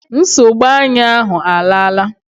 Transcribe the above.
Nsogbu anya ahụ alaala